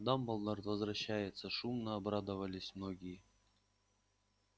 дамблдор возвращается шумно обрадовались многие